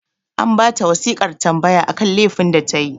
An ba ta wasiƙar tambaya akan lefin da ta yi